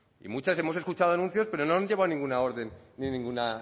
y muchas hemos escuchado anuncios pero no han llevado ninguna orden ni ninguna